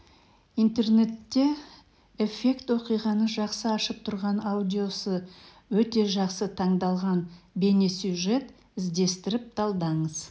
интернетте эффект оқиғаны жақсы ашып тұрған аудиосы өте жақсы таңдалған бейнесюжет іздестіріп талдаңыз